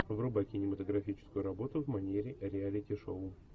врубай кинематографическую работу в манере реалити шоу